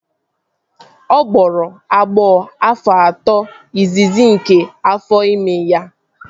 Ọ gbọrọ agbọ afọ atọ izizi nke afọ ime ya